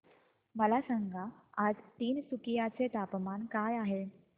मला सांगा आज तिनसुकिया चे तापमान काय आहे